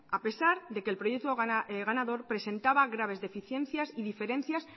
a pesar de que el proyecto ganador presentaba graves deficiencias y diferencias